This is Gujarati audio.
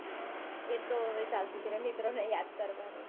એતો હવે ચાલતું જ રે મિત્રોને યાદ કરવાનું